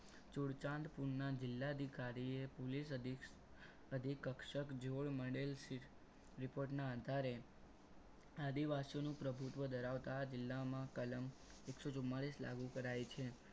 ચુરચંડ પૂરના જિલ્લા અધિકારીએ police અધિક ક્ષક જોડ મળેલ report ના આધારે આદિવાસીઓનું પ્રભુત્વ ધરાવતા જિલ્લાઓમાં કલમ એકસો ચુમાલીસ લાગુ કરાય છે.